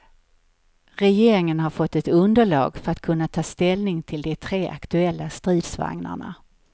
Regeringen har fått ett underlag för att kunna ta ställning till de tre aktuella stridsvagnarna.